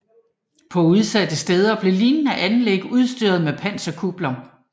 På udsatte steder blev lignende anlæg udstyret med panserkupler